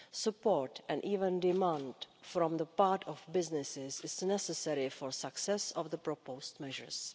Support, and even demand, from the part of businesses is necessary for success of the proposed measures.